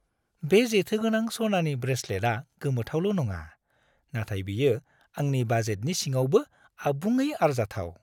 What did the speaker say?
बे जेथोगोनां सनानि ब्रेसेलेटआ गोमोथावल' नङा, नाथाय बेयो आंनि बाजेटनि सिङावबो आबुङै आरजाथाव।